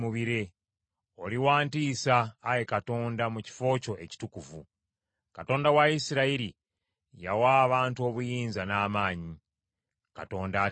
Oli wa ntiisa, Ayi Katonda, mu kifo kyo ekitukuvu. Katonda wa Isirayiri, yawa abantu obuyinza n’amaanyi. Katonda atenderezebwe.